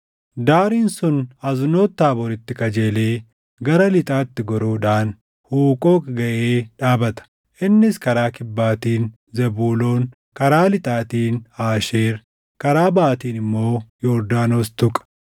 Daariin sun Aznoot Taabooritti qajeelee gara lixaatti goruudhaan Huuqooqi gaʼee dhaabata. Innis karaa kibbaatiin Zebuuloon, karaa lixatiin Aasheer, karaa baʼaatiin immoo Yordaanos tuqa.